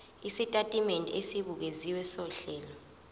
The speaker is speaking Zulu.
isitatimende esibukeziwe sohlelo